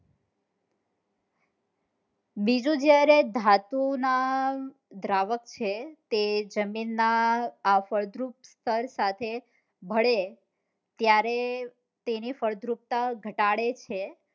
બીજું જ્યાએ ધાતુ ના દ્રાવક છે તે જમીન ના આ ફળદ્રુપ સ્તર સાથે ભળે ત્યારે તેની ફળદ્રુપતા ઘટાડે છે